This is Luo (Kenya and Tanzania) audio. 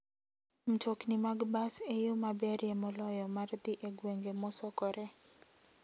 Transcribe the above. Mtokni mag bas e yo maberie moloyo mar dhi e gwenge mosokore.